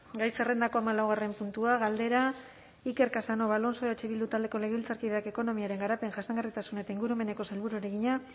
gai zerrendako hamalaugarren puntua galdera iker casanova alonso eh bildu taldeko legebiltzarkideak ekonomiaren garapen jasangarritasun eta ingurumeneko sailburuari egina